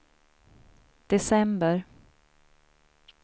december